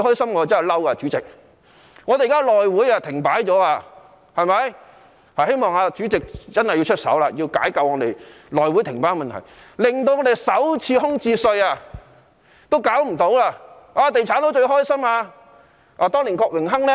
現在內會停擺，希望主席真的能夠出手，解救內會停擺的問題，因停擺已令首次空置稅無法推行，"地產佬"便最高興了。